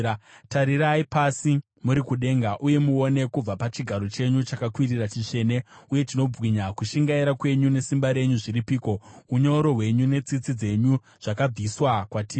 Tarirai pasi muri kudenga uye muone, kubva pachigaro chenyu chakakwirira chitsvene uye chinobwinya. Kushingaira kwenyu nesimba renyu zviripiko? Unyoro hwenyu netsitsi dzenyu zvakabviswa kwatiri.